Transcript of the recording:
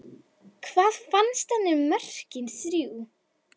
Hvað fannst henni um mörkin þrjú?